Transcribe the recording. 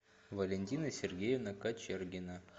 валентина сергеевна кочергина